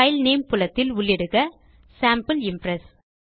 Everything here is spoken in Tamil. பைல் நேம் புலத்தில் உள்ளிடுக சேம்பிள் இம்ப்ரெஸ்